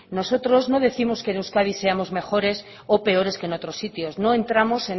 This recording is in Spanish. nosotros no décimos que en euskadi seamos mejores o peores que en otros sitios no entramos